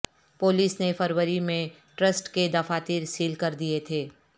police نے فروری میں ٹرسٹ کے دفاتر سیل کر دیے تھے